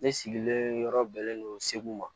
Ne sigilen yɔrɔ bɛnlen no segu ma